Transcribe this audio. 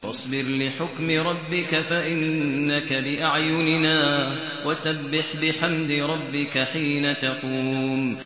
وَاصْبِرْ لِحُكْمِ رَبِّكَ فَإِنَّكَ بِأَعْيُنِنَا ۖ وَسَبِّحْ بِحَمْدِ رَبِّكَ حِينَ تَقُومُ